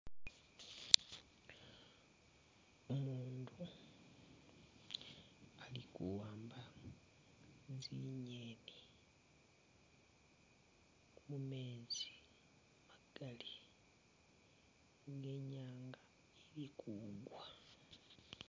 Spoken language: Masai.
Umutu ali kuwamba zinyeni mumezi magali, inyanga ili kugwa.